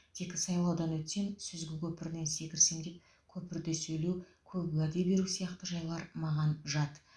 тек сайлаудан өтсем сүзгі көпірінен секірсем деп көпірте сөйлеу көп уәде беру сияқты жайлар маған жат